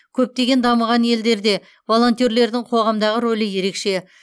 көптеген дамыған елдерде волонтерлердің қоғамдағы рөлі ерекше